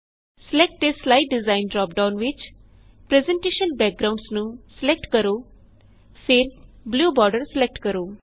select a slide design drop down ਵਿੱਚ presentation backgrounds select ਕਰੋ ਫਿਰ ਬਲੂ ਬੋਰਡਰ ਸਿਲੇਕਟ ਕਰੋ